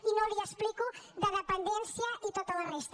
i no li ho explico de dependència i tota la resta